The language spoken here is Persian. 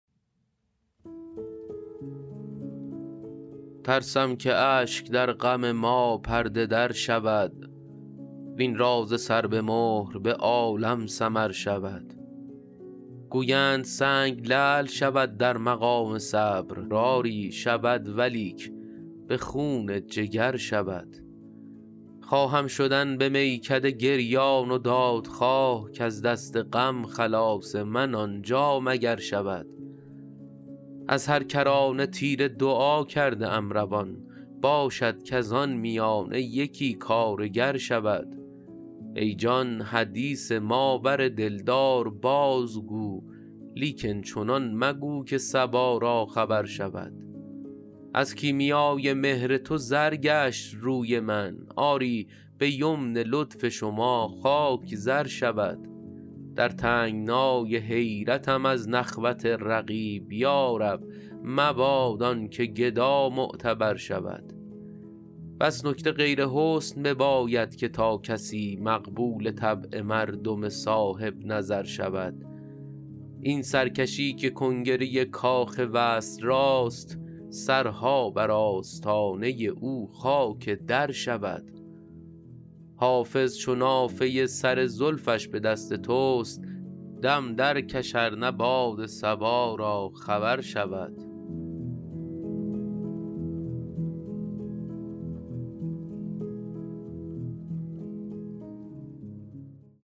ترسم که اشک در غم ما پرده در شود وین راز سر به مهر به عالم سمر شود گویند سنگ لعل شود در مقام صبر آری شود ولیک به خون جگر شود خواهم شدن به میکده گریان و دادخواه کز دست غم خلاص من آنجا مگر شود از هر کرانه تیر دعا کرده ام روان باشد کز آن میانه یکی کارگر شود ای جان حدیث ما بر دلدار بازگو لیکن چنان مگو که صبا را خبر شود از کیمیای مهر تو زر گشت روی من آری به یمن لطف شما خاک زر شود در تنگنای حیرتم از نخوت رقیب یا رب مباد آن که گدا معتبر شود بس نکته غیر حسن بباید که تا کسی مقبول طبع مردم صاحب نظر شود این سرکشی که کنگره کاخ وصل راست سرها بر آستانه او خاک در شود حافظ چو نافه سر زلفش به دست توست دم درکش ار نه باد صبا را خبر شود